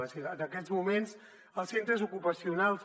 és a dir en aquests moments als centres ocupacionals